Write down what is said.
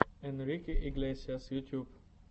энрике иглесиас ютюб